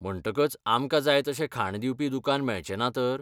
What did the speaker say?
म्हणटकच, आमकां जाय तशें खाण दिवपी दुकान मेळचें ना तर?